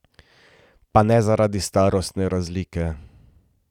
Pa ne zaradi starostne razlike.